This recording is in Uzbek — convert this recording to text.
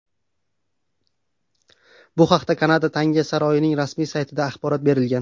Bu haqda Kanada tanga saroyining rasmiy saytida axborot berilgan .